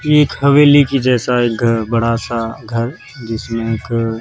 ये एक हवेली की जैसा एक घर बड़ा सा घर जिसमें घ--